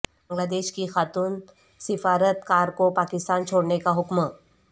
بنگلہ دیش کی خاتون سفارت کار کو پاکستان چھوڑنے کا حکم